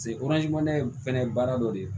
in fɛnɛ ye baara dɔ de ye